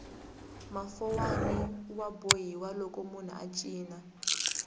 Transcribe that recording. mafowani ya bohiwa loko munhu a cina